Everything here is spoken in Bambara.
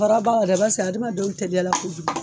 Baara adamadenw teliyala kojugu